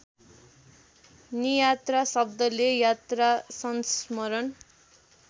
नियात्रा शब्दले यात्रासंस्मरण